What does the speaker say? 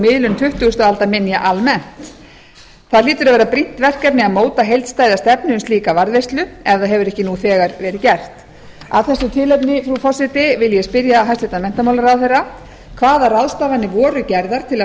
miðlun tuttugustu aldar minja almennt það hlýtur að vera brýnt verkefni að móta heildstæða stefnu um slíka varðveislu ef það hefur ekki nú þegar verið gert af þessu tilefni frú forseti vil ég spyrja hæstvirtan menntamálaráðherra fyrstu hvaða ráðstafanir voru gerðar til að